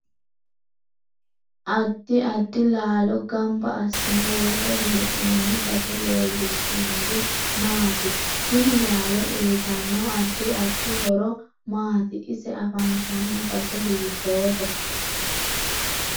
Addi addi laalo ganbba asiine worre hee'nooni base leelishanori maati tini laallo uyiitanno addi horo maati ise afantano base hiitoote